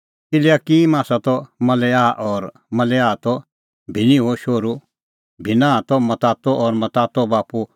इल्याकिम आसा त मलेआह और मलेआह त भिन्नाहो शोहरू भिन्नाह त मत्तातो और मत्तातो बाप्पू आसा त नातान और सह आसा त दाबेद राज़ैओ शोहरू